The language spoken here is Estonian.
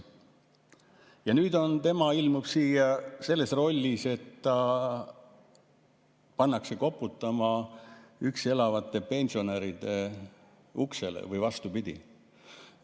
Ja nüüd tema ilmub siia selles rollis, et ta pannakse koputama üksi elavate pensionäride uksele või vastupidi.